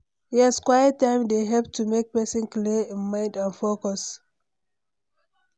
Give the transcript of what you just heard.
Yes, quiet time dey help to make pesin clear im mind and focus.